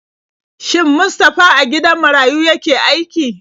Shin Mustafa a gidan marayu yake aiki?